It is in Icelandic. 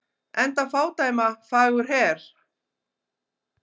Enda fádæma fagur her.